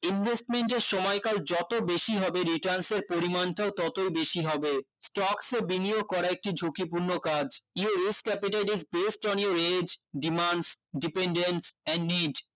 invesment এর সময়কাল যত বেশি হবে returns এর পরিমানটাও তত বেশি হবে stocks এ বিনিয়োগ করা একটি ঝুঁকিপূর্ণ কাজ your risk capitate is based on your age demands dependants and need